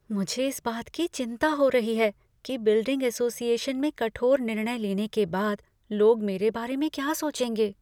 मुझे इस बात की चिंता हो रही है कि बिल्डिंग एसोसिएशन में कठोर निर्णय लेने के बाद लोग मेरे बारे में क्या सोचेंगे।